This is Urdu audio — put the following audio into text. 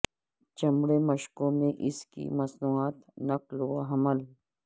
چمڑے مشکوں میں اس کی مصنوعات نقل و حمل